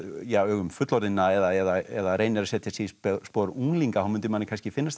augum fullorðinna eða reynir að setja sig í spor unglinga þá mundi manni kannski finnst þetta